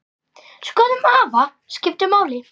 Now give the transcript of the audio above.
Skoðun afa skipti máli.